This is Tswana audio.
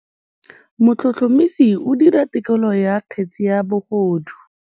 Motlhotlhomisi o dira têkolô ya kgetse ya bogodu.